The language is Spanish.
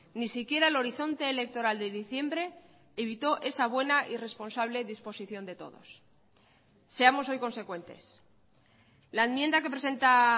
ni siquiera el horizonte electoral de diciembre evitó esa buena y responsable disposición de todos seamos hoy consecuentes la enmienda que presenta